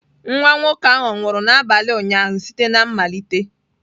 Nwa nwoke ahụ ọ̀ nwụrụ n'abalị ụnyaahụ site na mmalite?